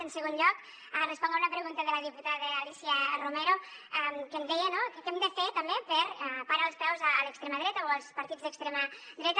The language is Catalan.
en segon lloc responc a una pregunta de la diputada alícia romero que em deia no que què hem de fer també per parar els peus a l’extrema dreta o als partits d’extrema dreta